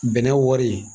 Bɛnɛ wari